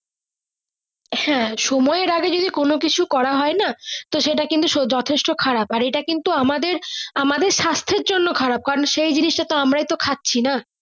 হ্যাঁ সময় এর আগে কোনো কিছু করা হয় না সেটা কিন্তু যথেষ্ট খারাপ এটা কিন্তু আমাদের আমাদের সাস্থের জন্য খারাপ কারণ সেই জিনিস টা তো আমরাই তো খাচ্ছি না।